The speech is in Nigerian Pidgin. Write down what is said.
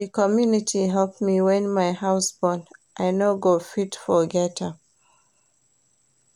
Di community help me wen my house burn, I no go fit forget am.